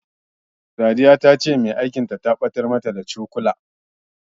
Sadiya ta ce mai aikin ta, ta ɓatar da, da yawa daga cikin cokulan ɗakin girkin.